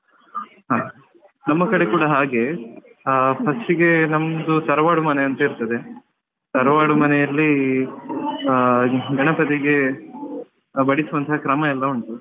ಹಾ ನಮ್ಮ ಕಡೆ ಕೂಡ ಹಾಗೆ ಹಾ first ಗೆ ನಮ್ದು ತರವಾಡು ಮನೆ ಅಂತ ಇರ್ತದೆ ತರವಾಡು ಮನೆಯಲ್ಲಿ ಹಾ ಗಣಪತಿಗೆ ಬಡಿಸುವಂತಹ ಕ್ರಮಯೆಲ್ಲ ಉಂಟು.